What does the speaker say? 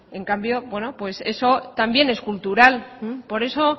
en cambio eso también es cultural por eso